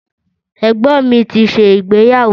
Ẹ̀gbọ́n mi ti ṣe ìgbeyàwó